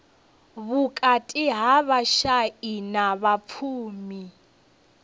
vhukati ha vhashai na vhapfumi